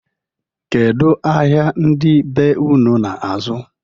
Kedu ahịa ndị be ụnụ na-azụ?